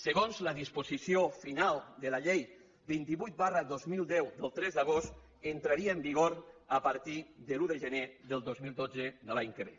segons la disposició final de la llei vint vuit dos mil deu del tres d’agost entraria en vigor a partir de l’un de gener del dos mil dotze de l’any que ve